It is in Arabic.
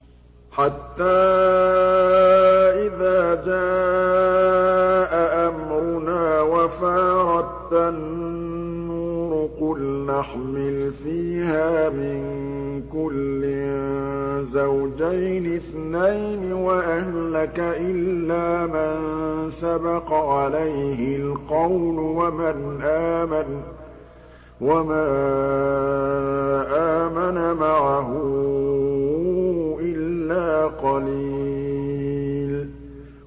حَتَّىٰ إِذَا جَاءَ أَمْرُنَا وَفَارَ التَّنُّورُ قُلْنَا احْمِلْ فِيهَا مِن كُلٍّ زَوْجَيْنِ اثْنَيْنِ وَأَهْلَكَ إِلَّا مَن سَبَقَ عَلَيْهِ الْقَوْلُ وَمَنْ آمَنَ ۚ وَمَا آمَنَ مَعَهُ إِلَّا قَلِيلٌ